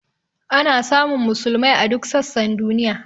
Ana samun musulmai a duk sassan duniya.